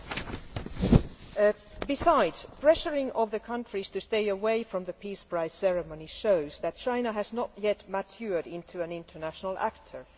In addition, pressuring countries to stay away from the Peace Prize ceremony shows that China has not yet matured into an international actor.